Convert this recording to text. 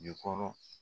Jukɔrɔ